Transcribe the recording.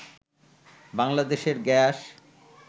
বাংলাদেশের গ্যাস